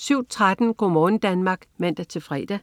07.13 Go' morgen Danmark (man-fre)